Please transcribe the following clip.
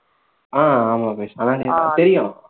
ஆஹ் ஆமா பவிஸ் ஆஹ் தெரியும்